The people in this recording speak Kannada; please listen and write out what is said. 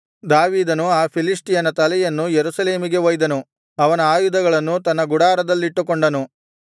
ದಾವೀದನು ಆ ಫಿಲಿಷ್ಟಿಯನ ತಲೆಯನ್ನು ಯೆರೂಸಲೇಮಿಗೆ ಒಯ್ದನು ಅವನ ಆಯುಧಗಳನ್ನು ತನ್ನ ಗುಡಾರದಲ್ಲಿಟ್ಟುಕೊಂಡನು